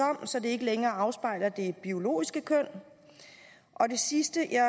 om så det ikke længere afspejler det biologiske køn og det sidste jeg